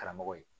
Karamɔgɔ ye